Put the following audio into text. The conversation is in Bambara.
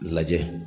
Lajɛ